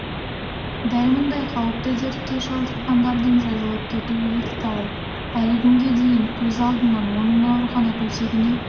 дәл мұндай қауіпті дертке шалдыққандардың жазылып кетуі екіталай әлі күнге дейін көз алдымнан оның аурухана төсегіне